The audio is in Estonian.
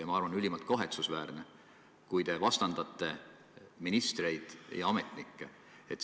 Ma arvan, et on ülimalt kahetsusväärne, kui te vastandate ministreid ja ametnikke.